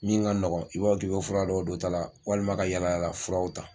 Min ka nɔgɔn i b'a b'a fɔ k'i bɛ fura dɔw don ta la walima ka yalayala furaw ta.